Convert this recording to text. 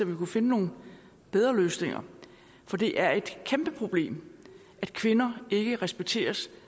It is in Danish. vi kunne finde nogle bedre løsninger for det er et kæmpe problem at kvinder ikke respekteres